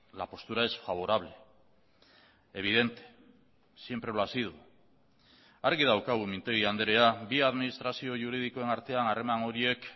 la postura es favorable evidente siempre lo ha sido argi daukagu mintegi andrea bi administrazio juridikoen artean harreman horiek